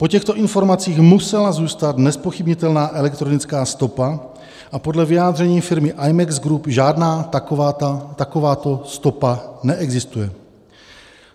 Po těchto informacích musela zůstat nezpochybnitelná elektronická stopa a podle vyjádření firmy Imex Group, žádná takováto stopa neexistuje.